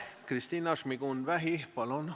Kristina Šmigun-Vähi, palun!